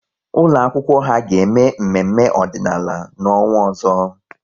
Ụlọ akwụkwọ ha ga-eme mmemme ọdịnala n'ọnwa ọzọ